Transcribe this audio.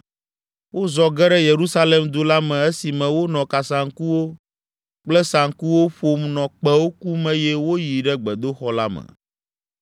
Wozɔ ge ɖe Yerusalem du la me esime wonɔ kasaŋkuwo kple saŋkuwo ƒom nɔ kpẽwo kum eye woyi ɖe gbedoxɔ la me.